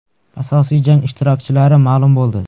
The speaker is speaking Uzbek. Asosiy jang ishtirokchilari ma’lum bo‘ldi.